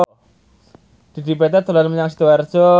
Dedi Petet dolan menyang Sidoarjo